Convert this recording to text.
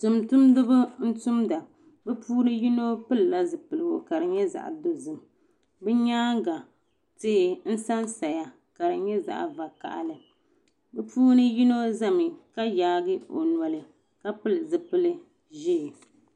Tuuntumdiba n tumda bi puuni yino pili la zipiligu ka di nyɛ zaɣa dozim bi nyaanga tihi n san saya ka di nyɛ zaɣa vakahili bi puuni yino zami ka yaagi o noli ka pili zipili ʒee.